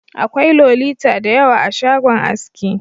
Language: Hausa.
Akwai Lolita da yawa a shagon aski.